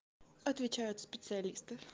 отвечает специалисты